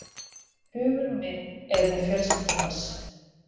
Hugur minn er með fjölskyldu hans.